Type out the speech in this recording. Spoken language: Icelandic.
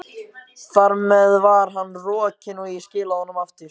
Þar með var hann rokinn, og ég skilaði honum aftur.